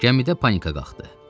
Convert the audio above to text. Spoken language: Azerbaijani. Gəmidə panika qalxdı.